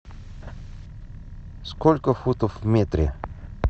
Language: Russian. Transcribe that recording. сколько футов в метре